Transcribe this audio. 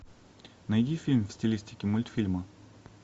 найди фильм в стилистике мультфильма